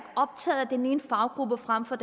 optaget af den ene faggruppe frem for